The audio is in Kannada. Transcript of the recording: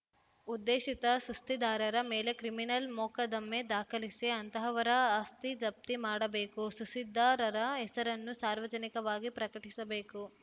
ಉದ್ದೇಶಿತ ಸುಸ್ಥಿದಾರರ ಮೇಲೆ ಕ್ರಿಮಿನಲ್‌ ಮೊಕದ್ದಮೆ ದಾಖಲಿಸಿ ಅಂತಹವರ ಆಸ್ತಿ ಜಪ್ತಿ ಮಾಡಬೇಕು ಸುಸ್ಥಿದಾರರ ಹೆಸರನ್ನು ಸಾರ್ವಜನಿಕವಾಗಿ ಪ್ರಕಟಿಸಬೇಕು